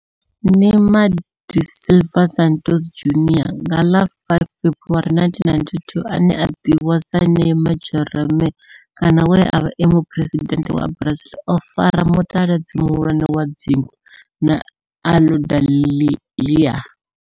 Neymar da Silva Santos Junior nga ḽa 5 February 1992, ane a ḓivhiwa sa Neymar' Jeromme kana we a vha e muphuresidennde wa Brazil o fara mutaladzi muhulwane wa dzingu na Aludalelia.